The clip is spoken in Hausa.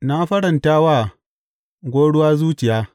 Na faranta wa gwauruwa zuciya.